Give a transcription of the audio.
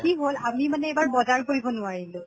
কি হʼল আমি মানে এইবাৰ বজাৰ কৰিব নোৱাৰিলো।